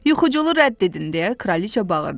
Yuxucunu rədd edin deyə Kraliçə bağırdı.